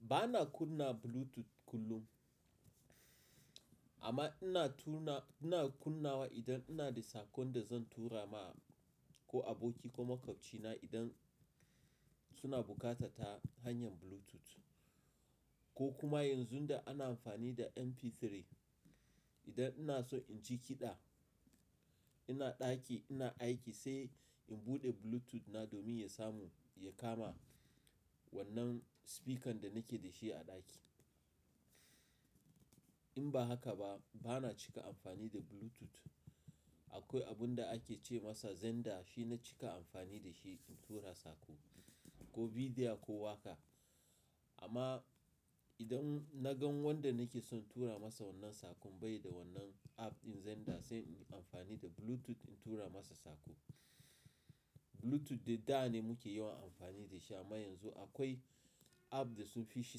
Ba na kunna Bluetooth kullum amma ina tuna-- ina kunnawa idan ina da saƙon da zan tura ma ko aboki ko maƙwabcina idan suna buƙata ta hanyar Bluetooth. Ko kuma yanzu da ana amfani da MP3, idan ina so in ji kiɗa, ina ɗaki ina aiki sai in buɗe Bluetooth na domin ya samu ya kama wannan speaker da nake da shi a ɗaki. In ba haka ba, ba na cika amfani da Bluetooth. Akwai abun da ake ce masa Zender, shi na cika amfani da shi in tura saƙo ko video ko waka. Amma idan na gan wanda nake son tura masa wannan saƙon bai da wannan app ɗin Zender sai in yi amfani da Bluetooth in tura masa saƙo. Bluetooth da da ne muke yawan amfani da shi amma yanzu akwai app da sun fi shi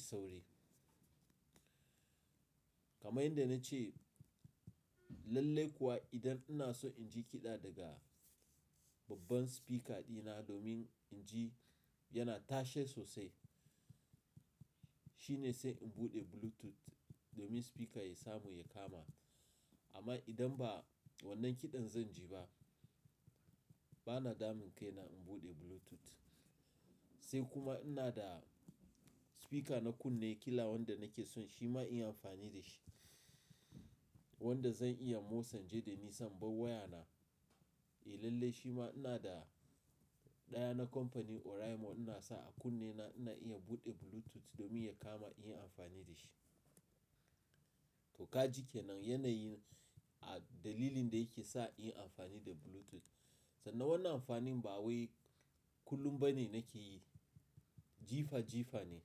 sauri. Kamar yadda na ce, lalle kuwa idan ina so in ji kiɗa daga babban speaker ɗina domin in ji yana tashe sosai, shine sai in buɗe Bluetooth domin speaker ya samu ya kama. Amma idan ba wannan kiɗan zan ji ba, ba na damu kai na in buɗe Bluetooth. Sai kuma ina da speaker na kunne, kila wanda nake son shi ma in yi amfani da shi. Wanda zan iya motsan ji da ni sa inbar wayana. Eh lalle shi ma ina da ɗaya na kamfani Oraimo ina sa a kunne na ina iya buɗe Bluetooth domin ya kama in yi amfani da shi. To ka ji ke nan yanayin a dalilin da yake sa in yi amfani da Bluetooth. Sannan wannan amfanin ba wai kullum ba ne nake yi, jifa jifa ne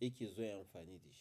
yake zuwa amfani da shi.